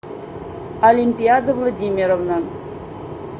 олимпиада владимировна